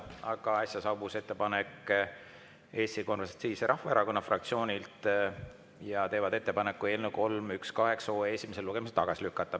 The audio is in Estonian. Aga äsja saabus ettepanek Eesti Konservatiivse Rahvaerakonna fraktsioonilt, nad teevad ettepaneku eelnõu 318 esimesel lugemisel tagasi lükata.